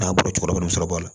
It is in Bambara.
N'a bɔra cɛkɔrɔba bɛ sɔrɔ a la